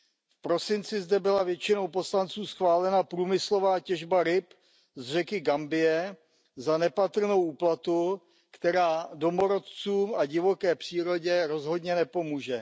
V prosinci zde byla většinou poslanců schválena průmyslová těžba ryb z řeky Gambie za nepatrnou úplatu, která domorodcům a divoké přírodě rozhodně nepomůže.